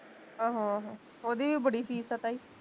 ਆਹੋ ਆਹੋ ਓਹਦੀ ਵੀ ਬੜੀ ਫੀਸ ਆ ਤਾਈ